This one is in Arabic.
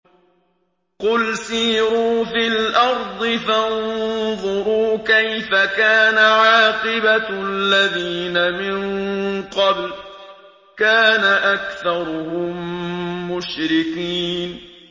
قُلْ سِيرُوا فِي الْأَرْضِ فَانظُرُوا كَيْفَ كَانَ عَاقِبَةُ الَّذِينَ مِن قَبْلُ ۚ كَانَ أَكْثَرُهُم مُّشْرِكِينَ